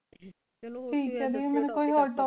ਚਾਲੂ